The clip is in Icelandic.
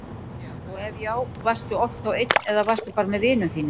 og ef já, varstu oft þá einn eða varstu bara með vinum þínum?